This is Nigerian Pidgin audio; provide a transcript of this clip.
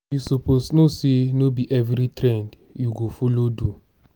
you suppose know say no be every trend you go follow do.